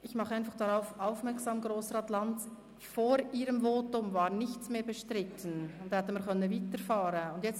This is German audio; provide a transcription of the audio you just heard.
Ich mache einfach darauf aufmerksam, Grossrat Lanz, dass vor Ihrem Votum nichts mehr bestritten war und wir hätten weiterfahren können.